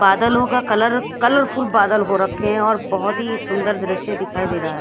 बादलों का colour colourful बादल हो रखे हैं और बहोत ही सुंदर दृश्य दिखाई दे रहा--